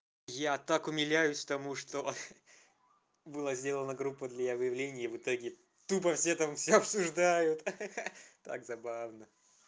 я так умиляюсь тому что было сделано группа для выявления и в итоге тупо все там всё обсуждают ха-ха так забавно